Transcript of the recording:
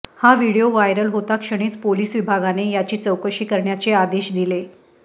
हा video viral होताक्षणीच police विभागाने याची चौकशी करण्याचे आदेश दिले